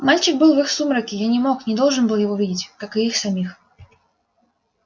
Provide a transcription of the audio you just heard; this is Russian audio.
мальчик был в их сумраке я не мог не должен был его видеть как и их самих